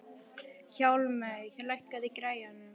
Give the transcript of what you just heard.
Hjálmey, lækkaðu í græjunum.